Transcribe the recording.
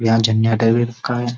यहाँ जेनेटर भी रखा है।